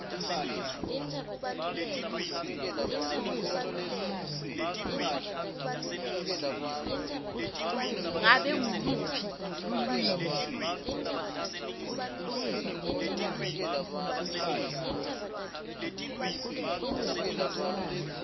ngabe nguluphi lulwimi